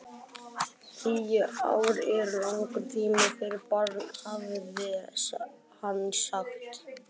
Tíu ár eru langur tími fyrir barn, hafði hann sagt.